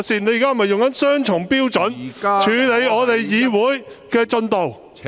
你現在是否用雙重標準，處理我們議會的進度？